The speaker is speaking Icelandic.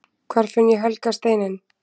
Hvar finn ég helga steininn!?